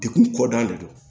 Dekun kɔ da de don